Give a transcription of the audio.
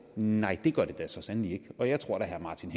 nej det gør det da så sandelig ikke og jeg tror herre martin